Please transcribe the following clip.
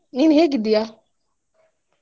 ನೀನ್ ಹೇಗಿದ್ದಿಯಾ?